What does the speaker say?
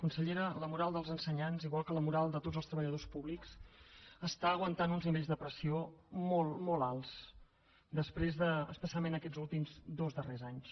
consellera la moral dels ensenyants igual que la moral de tots els treballadors públics està aguantant uns nivells de pressió molt molt alts després de especialment aquests últims dos darrers anys